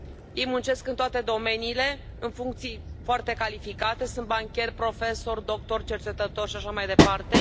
Ei muncesc în toate domeniile, în funcții foarte calificate, sunt bancheri, profesori, doctori, cercetători și așa mai departe.